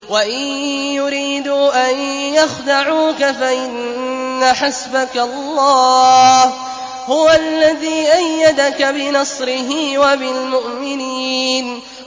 وَإِن يُرِيدُوا أَن يَخْدَعُوكَ فَإِنَّ حَسْبَكَ اللَّهُ ۚ هُوَ الَّذِي أَيَّدَكَ بِنَصْرِهِ وَبِالْمُؤْمِنِينَ